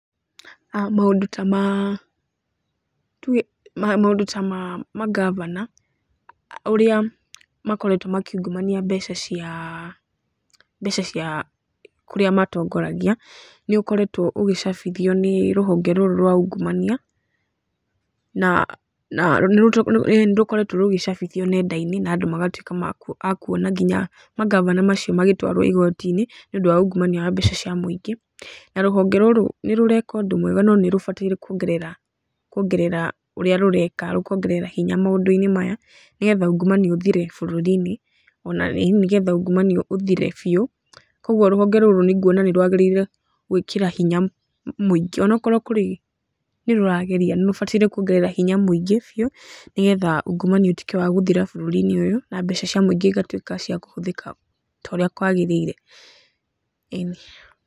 Maũndũ ta ma, tuge maũndũ ta ma mangavana ũrĩa makoretwo makiungumania mbeca cia kũrĩa matongoragia nĩ ũkoretwo ũgĩcabithio nĩ rũhonge rũrũ rwa ungumania na nĩ rũkoretwo rũgĩcabithio nenda-inĩ na andũ magatuĩka a kuona nginya mangavana macio magĩtwarwo igoti-inĩ nĩ ũndũ wa ungumania wa mbeca cia mũingi na rũhonge rũrũ nĩ rũreka ũndũ mwega no nĩ rũbatiĩ kuongerera ũrĩa rũreka rũkongerera hinya maũndũ-inĩ maya, nĩgetha ungumania ũthire bũrũri-inĩ o na nĩ getha ungumania ũthire biũ. Kũguo rũhonge rũrũ nguona nĩ rwagĩrĩire gwĩkĩra hinya mũingĩ, o na okorwo nĩ rũrageria, nĩ rũbatiĩ kuongerera hinya mũingĩ biũ nĩgetha ungumania ũtuĩke wa gũthira bũrũri-inĩ ũyũ, na mbeca cia mũingĩ igatuĩka cia kũhũthĩka ta ũrĩa ciagĩrĩire. ĩni.